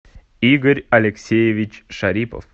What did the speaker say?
игорь алексеевич шарипов